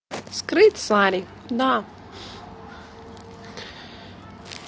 скрыть сари да